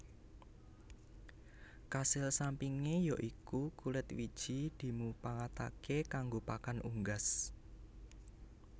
Kasil sampingé ya iku kulit wiji dimupangataké kanggo pakan unggas